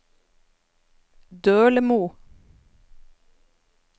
Dølemo